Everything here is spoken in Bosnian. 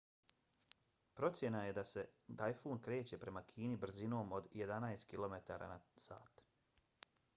procena je se da se tajfun kreće prema kini brzinom od jedanest km/h